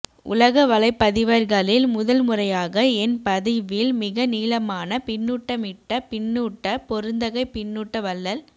உலக வலைப்பதிவர்களில் முதல் முறையாக என் பதிவில் மிக நீளமான பின்னூட்டமிட்ட பின்னூட்ட பெருந்தகை பின்னூட்ட வள்ளல்